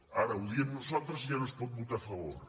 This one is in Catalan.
ara ho diem nosaltres i ja no s’hi pot votar a favor